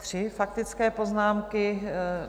Tři faktické poznámky.